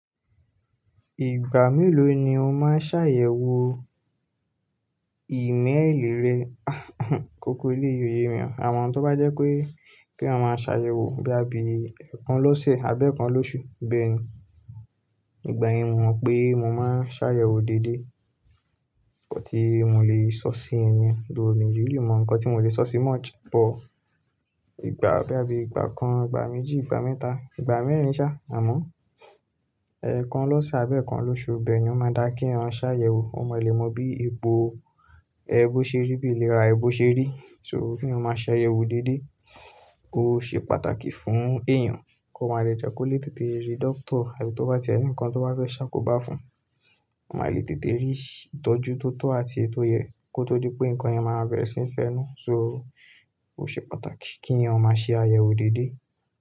Ìgbà mélòó ni o máa ṣàyẹ̀wò ìméèlì rẹ. Kókó èléyìí ó yè mí. Àmọ́ tó bá jẹ́ pé kí èyàn máa ṣàyẹ̀wò bóyá bí ẹẹkan lọ́sẹ̀ abẹ́ẹ̀kan lóṣù bẹ́ẹ̀ni. Ìgbà yẹn mo mọ̀ pé mo máa ṣàyẹ̀wò dédé ńkan tí mo lè sọ sí yẹn ni yẹn, though mi ò really mọ ńkan tí mo lè sọ sí much buh. Ìgbà bóyá bí ìgbà kan, ìgbà méjì, ìgbà mẹ́ta, ìgbà mẹ́rin ṣa àmọ́ ẹẹkan lọ́sẹ̀ abẹ́ẹ̀kan lóṣù bẹ́ẹ̀ni ó máa dáa kéèyàn ṣàyẹ̀wò. O mo lè mọ bí ipò ẹ bó ṣe rí bí ìlera ẹ bó ṣe rí. So kí o máa ṣàyẹ̀wò dédé, ó ṣe pàtàkì fún èèyàn kó máa le jẹ́ kó lè tètè rí dọ́kítà àti tó bá ti ẹni ńkan tó bá fẹ́ ṣá kò bá fún, ó máa lè tètè rí ìtọ́jú tó tọ́ àti ètò yè kó tó dí pé ǹkan yẹn máa bẹ̀rẹ̀ sí í fẹ́nú. So ó ṣe pàtàkì kí ẹ̀yàn ó máa ṣe àyẹ̀wò dédé.